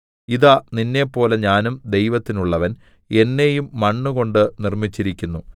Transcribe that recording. ഇതാ നിന്നെപ്പോലെ ഞാനും ദൈവത്തിനുള്ളവൻ എന്നെയും മണ്ണുകൊണ്ട് നിർമ്മിച്ചിരിക്കുന്നു